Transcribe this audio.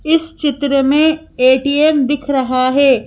इस चित्र में ए_टी_एम दिख रहा है।